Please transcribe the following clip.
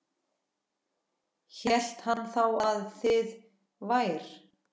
Hélt hann þá að þið vær